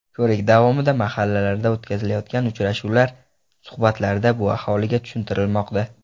Ko‘rik davomida mahallalarda o‘tkazilayotgan uchrashuvlar, suhbatlarda bu aholiga tushuntirilmoqda.